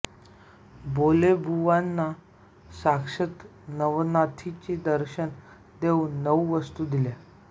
बोधलेबुवांना साक्षात नवनाथानी दर्शन देऊन नऊ वस्तू दिल्या